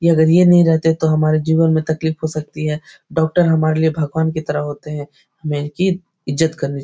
ये अगर ये नहीं रहते तो हमारे जीवन में तकलीफ़ हो सकती है डॉक्टर हमारे लिए भगवान की तरह होते हैं हमे इनकी इज्जत करनी --